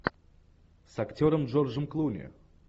с актером джорджем клуни